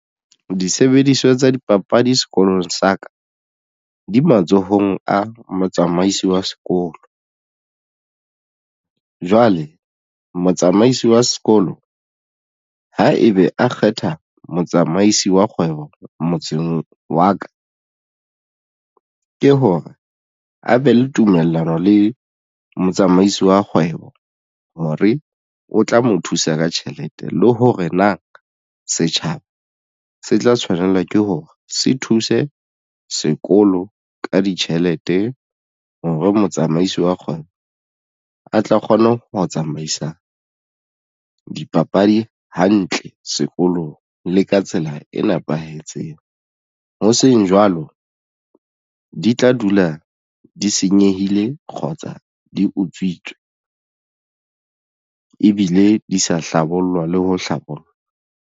Disebediswa tsa dipapadi sekolong sa ka di matsohong a motsamaisi wa sekolo. Jwale motsamaisi wa sekolo ha ebe a kgetha motsamaisi wa kgwebo motseng wa ka ke hore a be le tumellano le motsamaisi wa kgwebo hore o tla mo thusa ka tjhelete le hore na setjhaba se tla tshwanela ke hore se thuse sekolo ka ditjhelete hore motsamaisi wa kgona a tla kgona ho tsamaisa dipapadi hantle sekolong le ka tsela e nepahetseng. Ho seng jwalo di tla dula di senyehile kgotsa di utswitswe ebile di sa hlabollwa le ho hlabollwa.